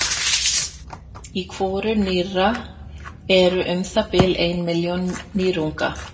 Í hvoru nýra eru um það bil ein milljón nýrunga.